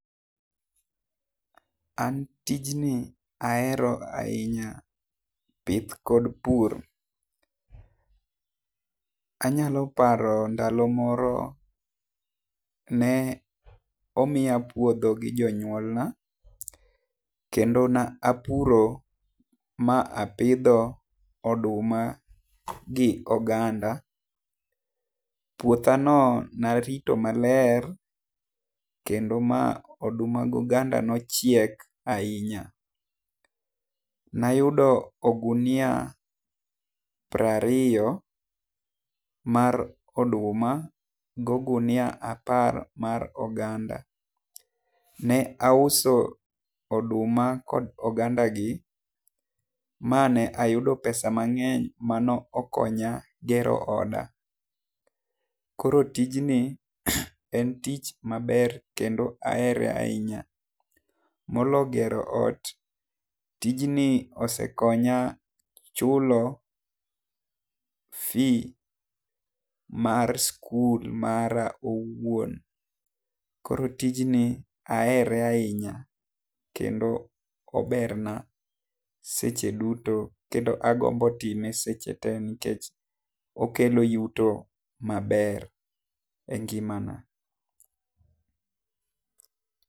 An tijni ahero ainya pith kod pur. Anyalo paro ndalo moro ne omiya puodho gi jonyuol na kendo ne apuro ma apidho oduma gi oganda, puotha no ne arito ma ler kendo ma oduma go oganda ne ochiek ainya. Ne ayudo ogunia piero ariyo mar oduma gi ogunia apar mar oganda. Ne auso oduma kod oganda gi ma ne ayudo pesa mang'eny ma no okonya gero oda. Koro tijni en tich ma ber kendo ahere ainya. Molo gero ot tijni ni osekonya chulo fee mar skul mara owuon. Koro tijni ahere ainya kendo ober seche duto kendo agombo time seche duto nikech okelo yuto maber e ngimana.